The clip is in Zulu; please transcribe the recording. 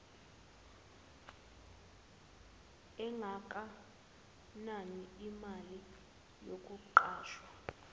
engakanani emalini yomqashwa